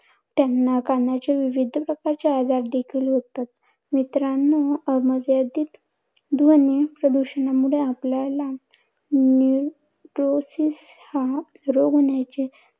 त्यांना कानाचे विविध प्रकारचे आजार देखील होतात. मित्रांनो अमर्यादित ध्वनी प्रदूषणामुळे आपल्याला निरोसीस हा रोग होण्याची